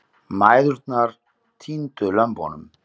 Mæðurnar týndu lömbunum.